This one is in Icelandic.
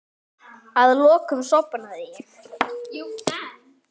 Að lokum sofnaði ég.